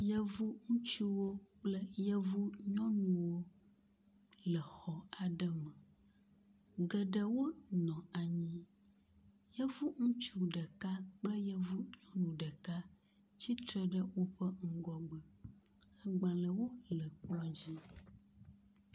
Yevu ŋutsuwo kple yevu nyɔnuwo le xɔ aɖe me. Geɖewo nɔ anyi. Yevu ŋutsu ɖeka kple yevu nyɔnu ɖeka tsitre ɖe woƒe ŋgɔgbe. Agbalewo le kplɔa dzi.